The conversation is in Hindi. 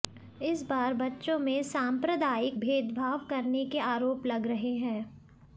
इस बार बच्चों में सांप्रदायिक भेदभाव करने के आरोप लग रहे हैं